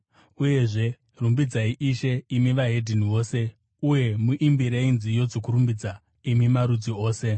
Uyezve, “Rumbidzai Ishe, imi mose veDzimwe Ndudzi, uye muimbirei nziyo dzokurumbidza, imi marudzi ose.”